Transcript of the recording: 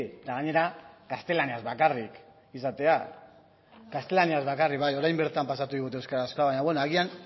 eta gainera gaztelaniaz bakarrik izatea gaztelaniaz bakarrik bai orain bertan pasatu digute euskarazkoa baina bueno agian